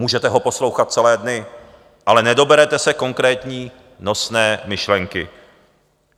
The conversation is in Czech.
Můžete ho poslouchat celé dny, ale nedoberete se konkrétní nosné myšlenky.